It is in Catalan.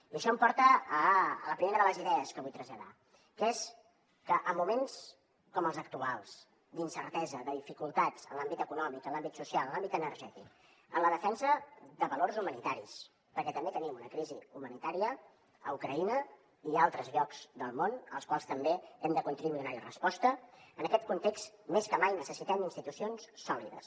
i això em porta a la primera de les idees que vull traslladar que és que en moments com els actuals d’incertesa de dificultats en l’àmbit econòmic en l’àmbit social en l’àmbit energètic en la defensa de valors humanitaris perquè també tenim una crisi humanitària a ucraïna i a altres llocs del món als quals també hem de contribuir a donar hi resposta en aquest context més que mai necessitem institucions sòlides